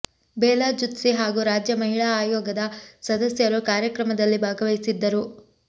ಬೇಲಾ ಜುತ್ಸಿ ಹಾಗೂ ರಾಜ್ಯ ಮಹಿಳಾ ಆಯೋಗದ ಸದಸ್ಯರು ಕಾರ್ಯಕ್ರಮದಲ್ಲಿ ಭಾಗವಹಿಸಿದ್ದರು